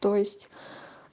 то есть